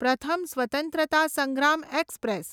પ્રથમ સ્વત્રંતતા સંગ્રામ એક્સપ્રેસ